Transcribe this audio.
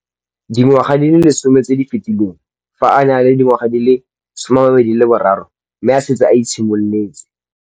Dingwaga di le 10 tse di fetileng, fa a ne a le dingwaga di le 23 mme a setse a itshimoletse.